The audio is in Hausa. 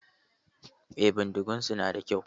Eh, bindigun su na da kyau.